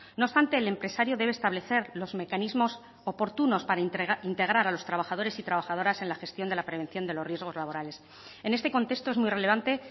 no obstante el empresario debe establecer los mecanismos oportunos para integrar a los trabajadores y trabajadoras en la gestión de la prevención de los riesgos laborales en este contexto es muy relevante